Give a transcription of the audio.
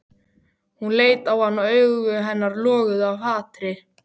Hún leit á hann og augu hennar loguðu af hatri.